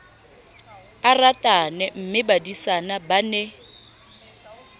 a ratane mmebadisana ba ne